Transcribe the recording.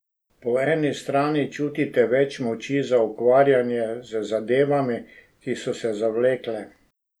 Po eni strani čutite več moči za ukvarjanje z zadevami, ki so se zavlekle.